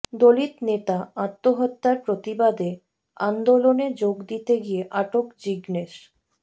দলিত নেতা আত্মহত্যার প্রতিবাদে আন্দোলনে যোগ দিতে গিয়ে আটক জিগনেশ